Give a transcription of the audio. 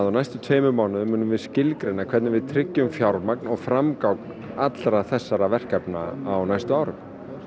á næstu tveimur mánuðum munum við skilgreina hvernig við tryggjum fjármagn og framgang allra þessara verkefna á næstu árum